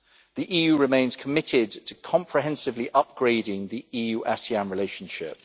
The EU remains committed to comprehensively upgrading the EU ASEAN relationship.